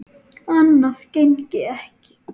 Annað gengi ekki.